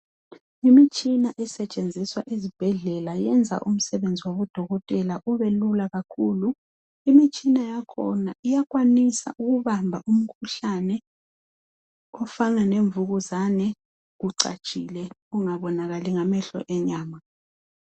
Imitshina esetshenziswa ezibhedlela yenza umsebenzi wabodokotela ube lula kakhulu imitshina yakhona iyakwanisa ukubamba umkhuhlane ofana lemvukuzane ucatshile ungabonakala ngamehlo enyama.